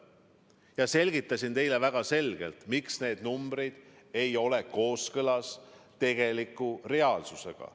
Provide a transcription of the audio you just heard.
Ma selgitasin teile väga selgelt, miks need numbrid ei ole kooskõlas tegeliku reaalsusega.